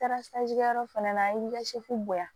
Taara kɛ yɔrɔ fana la an ye boyan